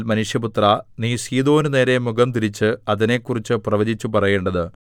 മനുഷ്യപുത്രാ നീ സീദോനു നേരെ മുഖംതിരിച്ച് അതിനെക്കുറിച്ച് പ്രവചിച്ചു പറയേണ്ടത്